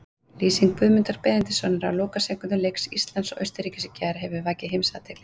Lýsing Guðmundar Benediktssonar á lokasekúndum leiks Íslands og Austurríkis í gær hefur vakið heimsathygli.